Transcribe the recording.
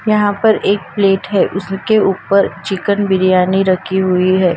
यहाँ पर एक प्लेट हैं उसके ऊपर चिकन बिरयानी रखी हुई हैं।